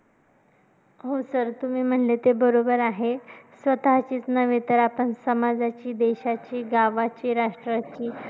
हो sir तुम्ही म्हणले ते बरोबर आहे. स्वतःचीचं नव्हे तर आपण समाजाची, देशाची, गावाची, राष्ट्राची